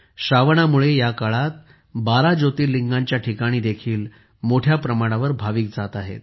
श्रावणामुळे या काळात 12 ज्योतिर्लिंगांच्या ठिकाणी देखील मोठ्या प्रमाणावर भाविक जात आहेत